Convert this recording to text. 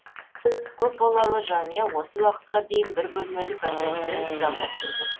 көпбалалы жанұя осы уақытқа дейін бір бөлмелі пәтерді жалдап келген